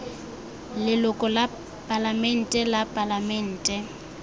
leloko la palamente la palamente